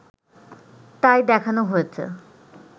তাই দেখানো হয়েছে